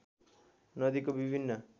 नदीको विभिन्न